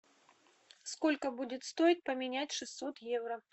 сколько будет стоить поменять шестьсот евро